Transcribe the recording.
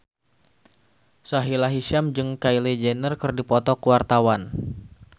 Sahila Hisyam jeung Kylie Jenner keur dipoto ku wartawan